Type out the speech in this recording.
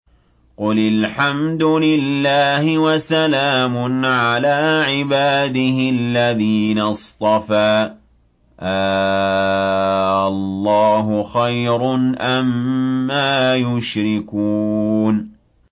قُلِ الْحَمْدُ لِلَّهِ وَسَلَامٌ عَلَىٰ عِبَادِهِ الَّذِينَ اصْطَفَىٰ ۗ آللَّهُ خَيْرٌ أَمَّا يُشْرِكُونَ